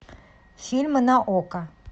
фильмы на окко